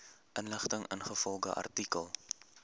inligting ingevolge artikel